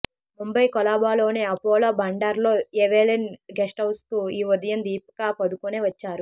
ముంబై కొలాబాలోని అపోలో బండర్లో Evelyn guest హౌస్కు ఈ ఉదయం దీపికా పదుకొనే వచ్చారు